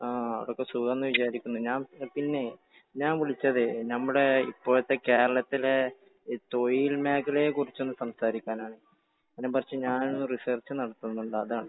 ആ ആടെ ഒക്കെ സുഖം എന്ന് വിചാരിക്കുന്നു. ഞാൻ പിന്നെ ഞാൻ വിളിച്ചതേ നമ്മുടെ ഇപ്പോഴത്തെ കേരളത്തിലെ തൊഴിൽ മേഖലയെ കുറിച്ച് ഒന്നു സംസാരിക്കാനാണ്. അതിനെക്കുറിച്ച് ഞാൻ ഒരു റിസർച്ച് നടത്തുന്നുണ്ട്. അതാണ്.